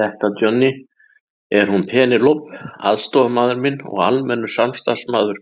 Þetta Johnny, er hún Penélope aðstoðarmaður minn og almennur starfsmaður